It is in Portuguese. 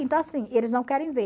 Então, assim, eles não querem ver.